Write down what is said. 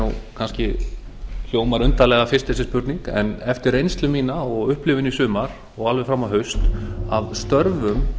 hún hljómar undarlega fyrst þessi spurning en eftir reynslu mína og upplifun í sumar og alveg fram á haust af störfum